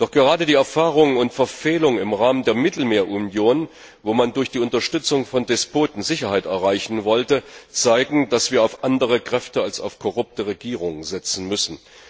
Doch gerade die Erfahrungen und Verfehlungen im Rahmen der Mittelmeerunion, wo man durch die Unterstützung von Despoten Sicherheit erreichen wollte, zeigen, dass wir auf andere Kräfte als auf korrupte Regierungen setzen müssen.